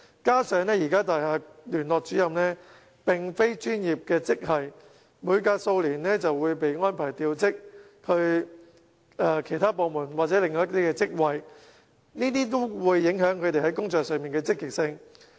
再者，現時的大廈聯絡主任並非專業職系，每隔數年便會被安排調職往其他部門或職位，這都會影響其在工作上的積極性。